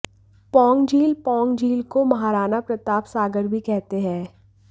पौंग झील पौंग झील को महाराण प्रताप सागर भी कहते है